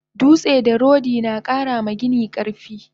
Dutse da rodi nakara ma gini karfi